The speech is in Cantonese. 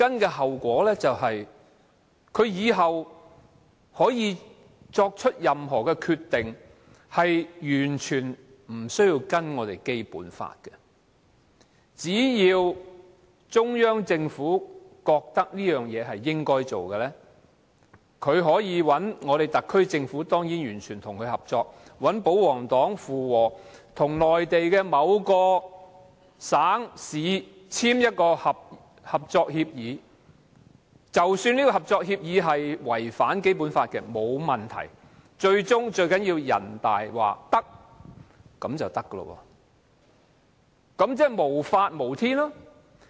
其後果是以後作出任何決定，可以完全不遵守《基本法》，只要中央政府認為某件事應該做，特區政府當然完全配合，再找保皇黨附和，與內地某個省、市簽訂合作協議，即使合作協議違反《基本法》也沒有問題，最重要是人大說行便行，那豈不是無法無天？